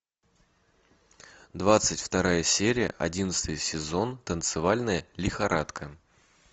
двадцать вторая серия одиннадцатый сезон танцевальная лихорадка